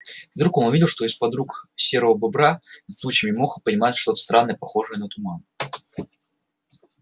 и вдруг он увидел что из-под рук серого бобра над сучьями и мохом поднимается что-то странное похожее на туман